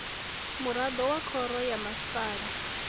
muraḓo wa khoro ya masipala